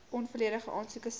onvolledige aansoeke sal